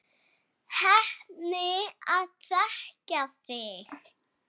Heppin að þekkja þig.